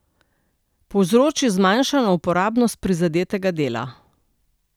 Povzroči zmanjšano uporabnost prizadetega dela.